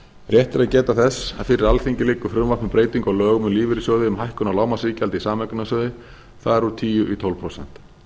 að geta þess að fyrir alþingi liggur frumvarp um breytingu á lögum um lífeyrissjóði um hækkun á lágmarksiðgjaldi í sameignarsjóði fari úr tíu í tólf prósent